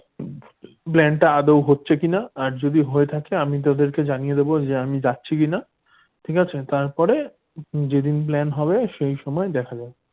plan টা আদর হচ্ছে কিনা যদি হয়ে থাকে আমি তাদেরকে জানিয়ে দেবো আমি যাচ্ছি কিনা ঠিক আছে? তারপরে যেদিন plan হবে সেই সময় দেখা যাবে।